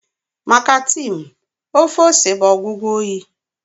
Maka Tim, ofe ose bụ ọgwụgwọ oyi